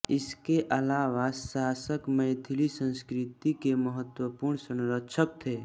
इसके अलावा शासक मैथिली संस्कृति के महत्वपूर्ण संरक्षक थें